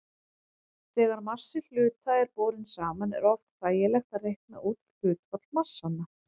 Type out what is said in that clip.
Þegar massi hluta er borinn saman er oft þægilegt að reikna út hlutfall massanna.